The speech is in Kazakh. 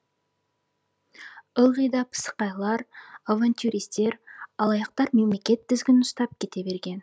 ылғи да пысықайлар авантюристер алаяқтар мемлекет тізгінін ұстап кете берген